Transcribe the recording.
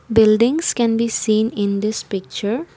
buildings can be seen in this picture.